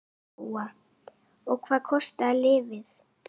Lóa: Og hvað kostar lyfið?